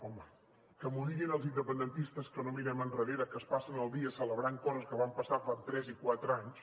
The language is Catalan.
home que m’ho diguin els independentistes que no mirem endarrere que es passen el dia celebrant coses que van passar fa tres i quatre anys